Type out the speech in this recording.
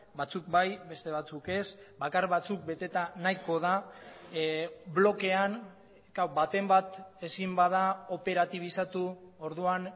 batzuk bai beste batzuk ez bakar batzuk beteta nahiko da blokean baten bat ezin bada operatibizatu orduan